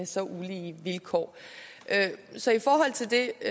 så ulige vilkår så i forhold til det